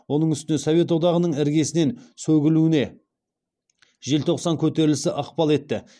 оның үстіне совет одағының іргесінен сөгілуіне желтоқсан көтерілісі ықпал етті